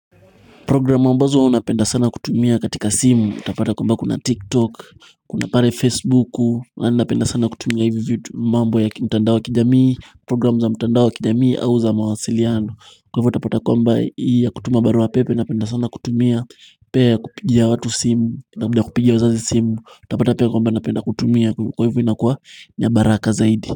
Program ambazo huwa napenda sana kutumia katika simu, utapata kwamba kuna tiktok, kuna pare facebooku, napenda sana kutumia hivyo mambo ya kimtandao ya kijamii, program za mtandao wa kijamii au za mawasiliano, kwa hivyo utapata kwamba hii ya kutuma barua pepe, napenda sana kutumia, pia ya kupigia watu simu, unapenda kupigia wazazi simu, utapata pia kwamba napenda kutumia, kwa hivyo inakua niya baraka zaidi.